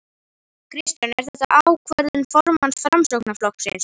Kristján: Er þetta ákvörðun formanns Framsóknarflokksins?